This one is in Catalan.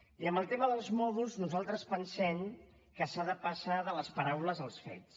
i amb el tema dels mòduls nosaltres pensem que s’ha de passar de les paraules als fets